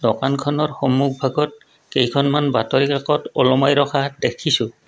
দোকানখনৰ সন্মুখভাগত কেইখনমান বাতৰি কাকত ওলোমাই ৰখা দেখিছোঁ।